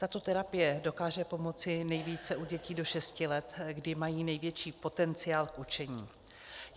Tato terapie dokáže pomoci nejvíce u dětí do šesti let, kdy mají největší potenciál k učení.